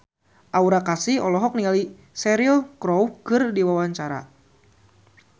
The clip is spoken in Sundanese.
Aura Kasih olohok ningali Cheryl Crow keur diwawancara